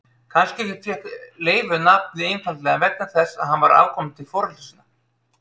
Kannski fékk Leifur nafnið einfaldlega vegna þess að hann var afkomandi foreldra sinna.